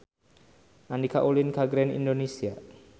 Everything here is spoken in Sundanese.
Andika ulin ka Grand Indonesia